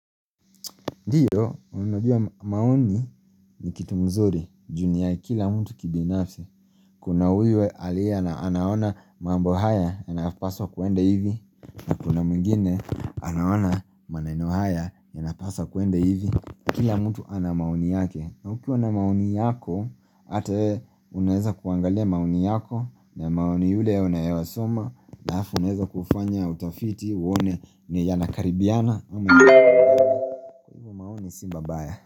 Ndiyo unajua maoni ni kitu mzuri juu ni ya kila mtu kibinafsi Kuna huyu alia na anaona mambo haya ya napaswa kuende hivi Kuna mungine anaona maneno haya ya napaswa kuende hivi Kila mtu ana maoni yake na ukiwa na maoni yako Ata uneza kuangalia maoni yako na maoni yule unayewa soma na hafu uneza kufanya utafiti uone ni yanakaribiana Amo ni simba baya.